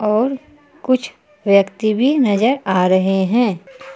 और कुछ व्यक्ति भी नजर आ रहे हैं।